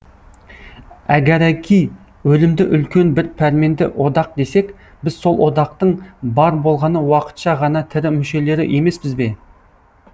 әгәрәки өлімді үлкен бір пәрменді одақ десек біз сол одақтың бар болғаны уақытша ғана тірі мүшелері емеспіз бе